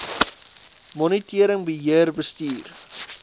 monitering beheer bestuur